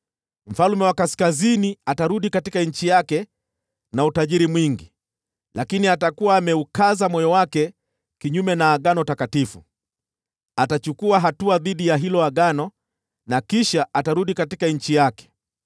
Mfalme wa Kaskazini atarudi katika nchi yake na utajiri mwingi, lakini atakuwa ameukaza moyo wake kinyume na agano takatifu. Atachukua hatua dhidi ya hilo agano, kisha atarudi nchi yake.